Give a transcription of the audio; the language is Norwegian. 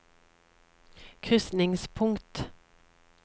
krysningspunkt